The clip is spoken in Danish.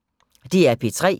DR P3